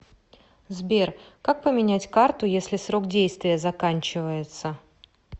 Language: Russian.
сбер как поменять карту если срок действия заканчивается